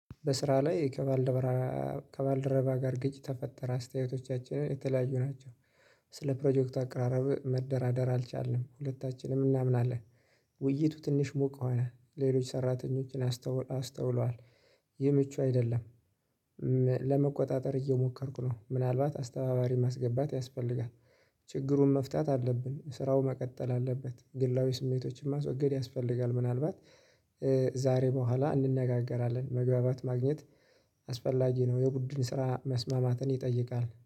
በስራ ላይ ከባልደረባ ጋር ግጭት ተፈጠረ አስተያየቶቻችን የተለያዩ ናቸው። ስለ ፕሮጀክቱ አቀራረብ መደራደር አልቻልንም ሁለታችንም እናምናለን። ውይይቱ ትንሽ ሙቅ ሆነ። ሌሎች ሰራተኞቻችን አስተውለዋል። ይህ ምቹ አይደለም። ለመቆጣጠር እየሞከርኩ ነው። ምናልባት አስተባባሪ ማስገባት ያስፈልጋል። ችግሩን መፍታት አለብን። ስራው መቀጠል አለበት። ግላዊ ስሜቶችን ማስወገድ ያስፈልጋል። ምናልባት ዛሬ በኋላ እንነጋገራለን። መግባባት ማግኘት አስፈላጊ ነው። የቡድን ስራ መስማማትን ይጠይቃል።